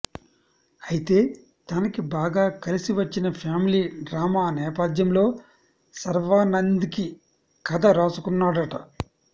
అయితే తనకి బాగా కలిసి వచ్చిన ఫ్యామిలీ డ్రామా నేపథ్యంలో శర్వానంద్కి కథ రాసుకున్నాడట